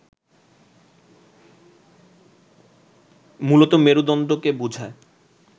মূলত মেরুদণ্ডকে বোঝায়